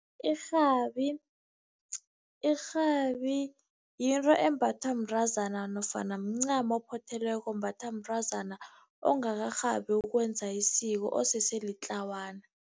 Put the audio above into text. Irhabi, irhabi yinto embathwa mntazana nofana mncamo ophothelweko, ombathwa mntazana ongakarhabi ukwenza isiko osese litlawana.